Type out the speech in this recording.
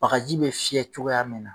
Bagaji bɛ fiyɛ cogoya min na